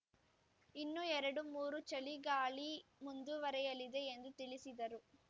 ಇನ್ನು ಎರಡು ಮೂರು ಚಳಿಗಾಳಿ ಮುಂದುವರೆಯಲಿದೆ ಎಂದು ತಿಳಿಸಿದರು